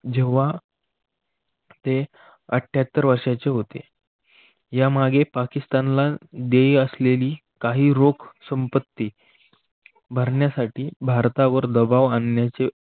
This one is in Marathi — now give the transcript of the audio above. जेव्हा ते आठ्याततर वर्षाचे होते यामागे पाकिस्तानला देईल असलेली काही रोख संपत्ती भरण्यासाठी भारतावर दबाव आणण्याचे